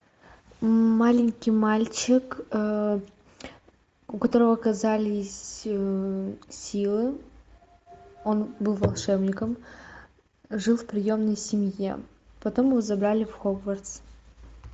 маленький мальчик у которого оказались силы он был волшебником жил в приемной семье потом его забрали в хогвартс